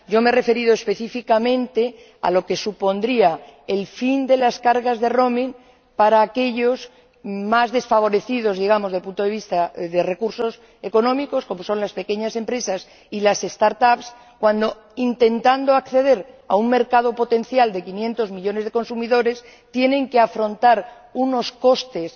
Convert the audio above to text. Yo me he referido específicamente a lo que supondría el fin de las cargas que supone el roaming para aquellos más desfavorecidos, desde el punto de vista de los recursos económicos —como son las pequeñas empresas y las start up cuando, intentando acceder a un mercado potencial de 500 millones de consumidores, tienen que afrontar unos costes